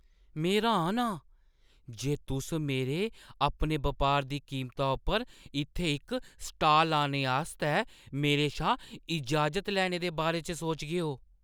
में र्‌हान आं जे तुस मेरे अपने बपारै दी कीमता उप्पर इत्थै इक स्टाल लाने आस्तै मेरे शा इजाज़त लैने दे बारे च सोचगे।